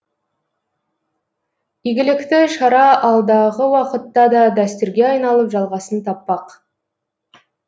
игілікті шара алдағы уақытта да дәстүрге айналып жалғасын таппақ